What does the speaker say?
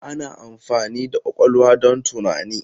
Ana amfani da ƙwaƙwalwa don tunani.